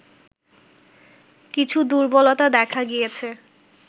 কিছু দুর্বলতা দেখা গিয়েছে